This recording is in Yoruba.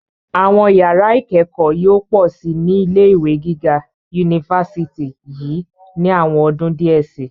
Àwọn yàrá ìkẹ́kọ̀ọ́ yóò pọ̀ síi ní ilé ìwé gíga yunifásítì yìí ní àwọn ọdún díẹ̀ síi.